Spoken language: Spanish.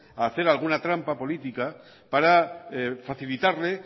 a hacer alguna trampa política para facilitarle